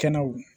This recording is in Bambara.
Kɛnɛw